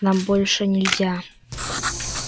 нам больше нельзя